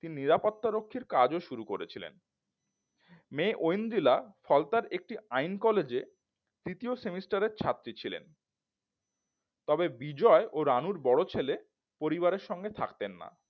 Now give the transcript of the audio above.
তিনি নিরাপত্তা রক্ষির কাজও শুরু করেছিলেন মেয়ে ঐন্দ্রিলা ফলতা একটি আইন কলেজে দ্বিতীয় semester এর ছাত্রী ছিলেন তবে বিজয় ও রানুর বড় ছেলে পরিবারের সঙ্গে থাকতেন না